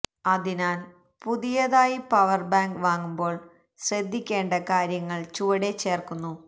അതിനാൽ പുതിയതായി power bank വാങ്ങുമ്പോൾ ശ്രദ്ധിക്കേണ്ട കാര്യങ്ങൾ ചുവടെ ചേർക്കുന്നു